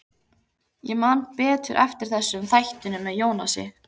Ég man betur eftir þessu en þættinum með Jónasi.